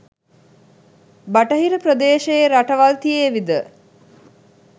බටහිර ප්‍රදේශයේ රටවල් තියේවි ද?